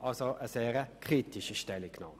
Dies war also eine sehr kritische Stellungnahme.